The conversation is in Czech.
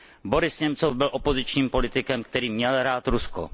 Boris Němcov byl opozičním politikem, který měl rád Rusko.